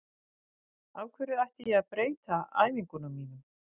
Af hverju ætti ég að breyta æfingunum mínum?